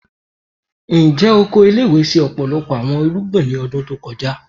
Njẹ oko ile-iwe ṣe ọpọlọpọ awọn irugbin ni ọdun to kọja?